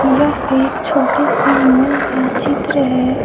यह एक छोटे से माल का चित्र है।